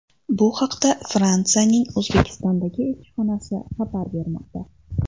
Bu haqda Fransiyaning O‘zbekistondagi elchixonasi xabar bermoqda .